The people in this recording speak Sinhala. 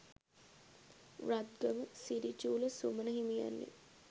රත්ගම, සිරි චූල සුමන හිමියන්ය.